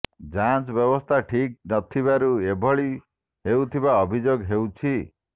ଯାଞ୍ଚ ବ୍ୟବସ୍ଥା ଠିକ୍ ନଥିବାରୁ ଏଭଳି ହେଉଥିବା ଅଭିଯୋଗ ହେଉଛି